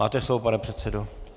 Máte slovo, pane předsedo.